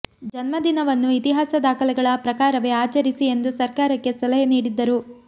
ಜನ್ಮದಿನವನ್ನು ಇತಿಹಾಸ ದಾಖಲೆಗಳ ಪ್ರಕಾರವೇ ಆಚರಿಸಿ ಎಂದು ಸರ್ಕಾರಕ್ಕೆ ಸಲಹೆ ನೀಡಿದ್ದರು